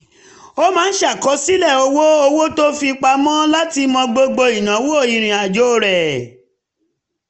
ó máa ń ṣàkọsílẹ̀ owó owó tó fi pamọ́ láti mọ gbogbo ìnáwó ìrìnàjò rẹ̀